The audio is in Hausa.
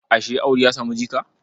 Ashe Audu ya samu jika?